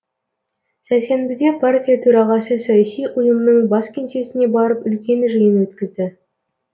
сәрсенбіде партия төрағасы саяси ұйымның бас кеңсесіне барып үлкен жиын өткізді